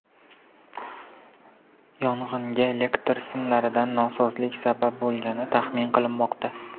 Yong‘inga elektr simlaridagi nosozlik sabab bo‘lgani taxmin qilinmoqda.